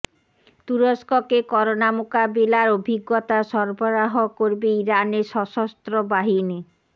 তুরস্ককে corona মোকাবিলার অভিজ্ঞতা সরবরাহ করবে ইরানের সশস্ত্র বাহিনী